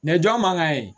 jɔn man ka ye